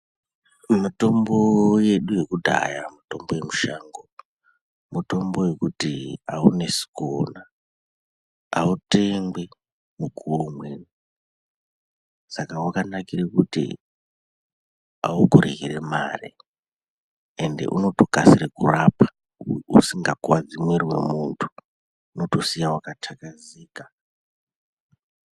Mutombo yedu yekudhaya mutombo yemushango mutombo yekuti aunesi kuona autengwi mukuwo umweni saka wakanakire kuti aukurwiri mare ende unoti ukato kasire kurapa usinga kuwadzi mwiri wemuntu unotosiya wakataka zika